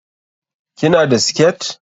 Ki na da siket?